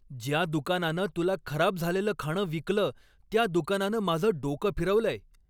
ज्या दुकानानं तुला खराब झालेलं खाणं विकलं त्या दुकानानं माझं डोकं फिरवलंय.